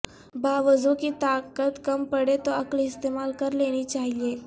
باوزوں کی طاقت کم پڑے تو عقل استعمال کرلینی چاہیئے